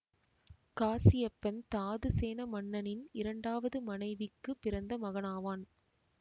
காசியப்பன் தாதுசேன மன்னனின் இரண்டாவது மனைவிக்கு பிறந்த மகனாவான்